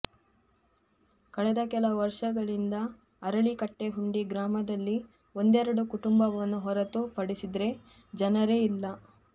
ಕಳೆದ ಕೆಲವು ವರ್ಷಗಳಿಂದ ಅರಳಿಕಟ್ಟೆಹುಂಡಿ ಗ್ರಾಮದಲ್ಲಿ ಒಂದೆರಡು ಕುಟುಂಬವನ್ನು ಹೊರತು ಪಡಿಸಿದರೆ ಜನರೇ ಇಲ್ಲ